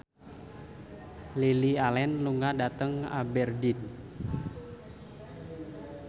Lily Allen lunga dhateng Aberdeen